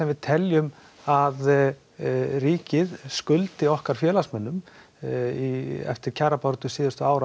við teljum að ríkið skuldi okkar félagsmönnum eftir kjarabaráttu síðustu ára